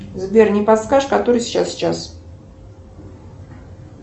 сбер не подскажешь который сейчас час